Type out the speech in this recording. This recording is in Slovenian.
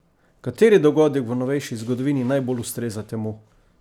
Kateri dogodek v novejši zgodovini najbolj ustreza temu?